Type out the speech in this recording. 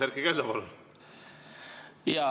Erkki Keldo, palun!